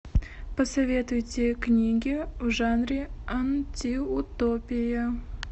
посоветуйте книги в жанре антиутопия